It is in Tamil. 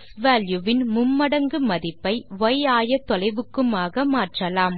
க்ஸ்வால்யூ வின் மும்மடங்கு மதிப்பை ய் ஆயத்தொலைவுக்குமாக மாற்றலாம்